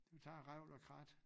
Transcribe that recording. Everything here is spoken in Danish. Du tager revl og krat